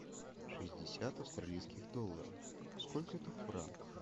шестьдесят австралийских долларов сколько это в франках